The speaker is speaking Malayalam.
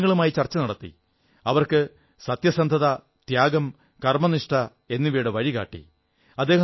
അദ്ദേഹം ജനങ്ങളുമായി ചർച്ചകൾ നടത്തി അവർക്ക് സത്യസന്ധത ത്യാഗം കർമ്മനിഷ്ഠ എന്നിവയുടെ വഴി കാട്ടി